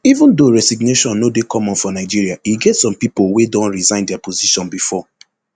even though resignation no dey common for nigeria e get some pipo wey don resign dia position bifor